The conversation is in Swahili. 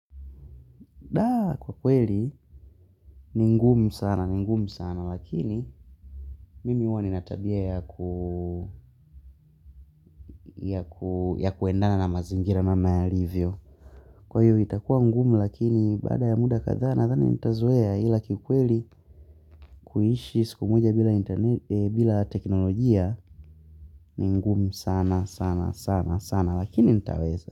Kwa kweli, ni ngumu sana, ni ngumu sana, lakini mimi huwa nina tabia ya kuendana na mazingira namna yalivyo. Kwa hiyo, itakua ngumu lakini, baada ya muda kadhaa nadhani nitazoea ila kikweli kuishi siku moja bila teknolojia ni ngumu sana, sana, sana, sana, lakini nitaweza.